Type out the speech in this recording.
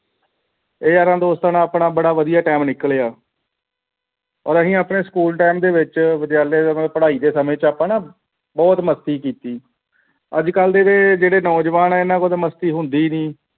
ਯਾਰਾਂ ਦੋਸਤਾਂ ਦੇ ਨਾਲ ਆਪਣਾ ਬੜਾ ਵਧੀਆ time ਨਿਕਲਿਆ ਔਰ ਅਸੀਂ ਆਪਣੇ school time ਦੇ ਵਿਚ ਵਿਦਿਆਲਿਆ ਪੜਾਈ ਦੇ ਸਮੇਂ ਆਪਾਂ ਨਾਂ ਬਹੁਤ ਮਸਤੀ ਕੀਤੀ ਅੱਜ ਕੱਲ ਦੇ ਜਿਹੜੇ ਨੌਜਵਾਨ ਹੈ ਇਨ੍ਹਾਂ ਕੋਲੋਂ ਮਸਤਕਿ ਹੁੰਦੀ ਹੀ ਨਹੀਂ